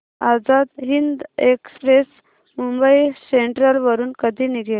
Azad Hind express Mumbai central वरून कधी निघेल